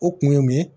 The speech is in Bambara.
O kun ye mun ye